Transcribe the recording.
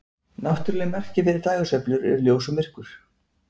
Náttúruleg merki fyrir dægursveiflur eru ljós og myrkur.